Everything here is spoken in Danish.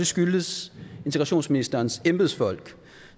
skyldtes integrationsministerens embedsfolk